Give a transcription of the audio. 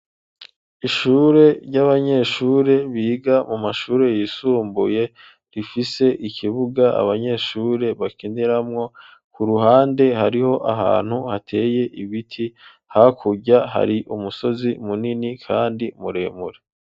Ishure, ry'abanyeshure, biga mu mashure yisumbuye, rifise ikibuga, abanyeshure bakiniramwo; ku ruhande, hariho ahantu hateye ibiti; hakurya, hari umusozi, munini, kandi muremure.